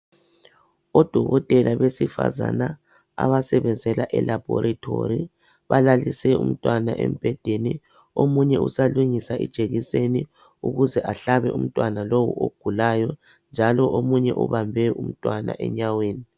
Odokotela besifazana abasebenzela elaboratory balalise umntwana embhedeni omunye usalungisa ijekiseni ukuze ahlabe umntwana lowu ogulayo njalo omunye ubambe umntwana enyaweni